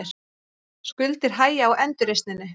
Skuldir hægja á endurreisninni